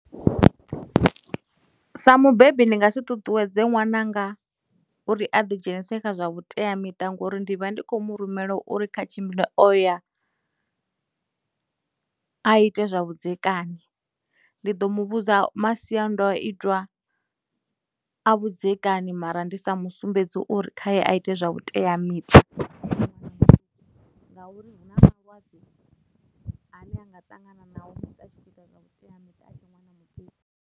Sa mubebi ndi nga si ṱuṱuwedze ṅwananga uri a ḓi dzhenise kha zwa vhuteamiṱa ngori ndi vha ndi khou mu rumela uri kha tshimbile o ya a ite zwa vhudzekani, ndi ḓo mu vhudza masiandoitwa a vhudzekani mara ndi sa mu sumbedzi uri khaye a ite zwa vhuteamiṱa ngauri hu na malwadze ane a nga ṱangana nao musi a tshi khou ita zwa vhuteamiṱa a tshe ṅwana muṱuku.